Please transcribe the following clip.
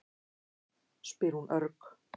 spyr hún örg.